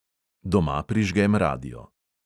Doma prižgem radio.